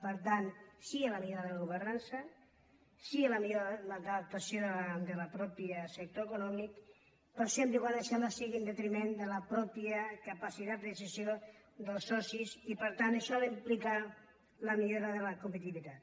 per tant sí a la millora de la governança sí a la millor adaptació del propi sector econòmic però sempre que això no sigui en detriment de la pròpia capacitat de decisió dels socis i per tant això ha d’implicar la millora de la competitivitat